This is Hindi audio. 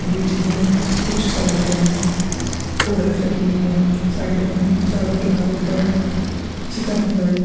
बीच में कुछ सलाद है और एक चटनी है साइड में चारो किनारों पर चिकन फ्राई --